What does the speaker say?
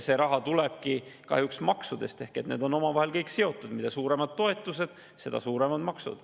See raha tulebki kahjuks maksudest ehk kõik need asjad on omavahel seotud: mida suuremad on toetused, seda suuremad on maksud.